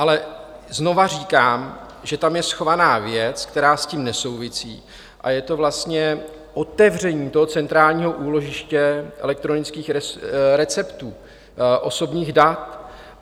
Ale znova říkám, že tam je schovaná věc, která s tím nesouvisí, a je to vlastně otevření toho centrálního úložiště elektronických receptů, osobních dat.